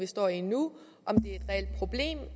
står i nu